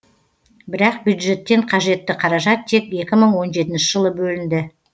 бірақ бюджеттен қажетті қаражат тек екі мың он жетінші жылы бөлінді